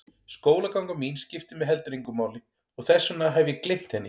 Skólaganga mín skiptir mig heldur engu máli og þess vegna hef ég gleymt henni.